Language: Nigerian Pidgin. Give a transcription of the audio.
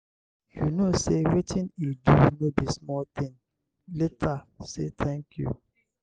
you no say wetin he do no be small thing. later say thank you.